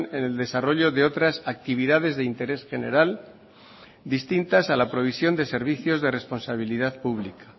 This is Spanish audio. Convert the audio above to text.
en el desarrollo de otras actividades de interés general distintas a la provisión de servicios de responsabilidad pública